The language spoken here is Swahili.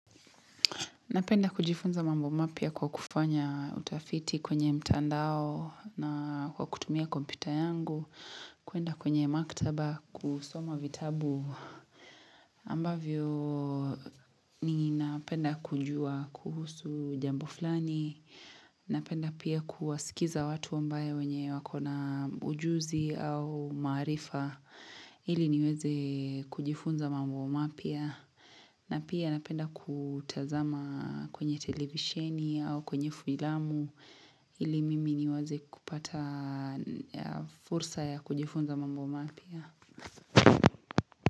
Napenda kujifunza mambo mapya kwa kufanya utafiti kwenye mtandao na kwa kutumia kompyuta yangu. Kuenda kwenye maktaba kusoma vitabu ambavyo ninapenda kujua kuhusu jambo fulani. Napenda pia kuwasikiza watu ambaye wenye wako na ujuzi au maarifa. Ili niweze kujifunza mambo mapya. Na pia napenda kutazama kwenye televisheni au kwenye filamu ili mimi niwaze kupata fursa ya kujifunza mambo mapya.